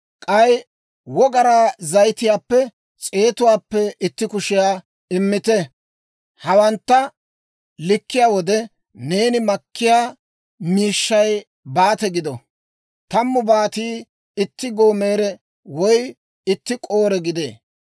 k'ay wogaraa zayitiyaappe s'eetuwaappe itti kushiyaa immite. Hawantta likkiyaa wode, neeni makkiyaa miishshay Baate gido. Tammu Baatii itti gomoore woy itti Koore gidee.